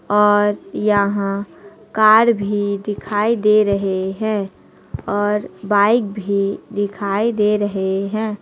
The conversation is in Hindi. और यहां कार भी दिखाई दे रहे हैं और बाइक भी दिखाई दे रहे हैं।